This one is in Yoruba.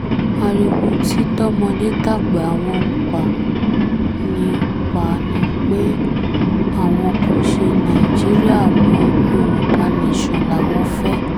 ariwo tí tọmọdé tàgbà wọn ń pa ni pa ni pé àwọn kò ṣe nàìjíríà mọ́ yorùbá nation làwọn fẹ́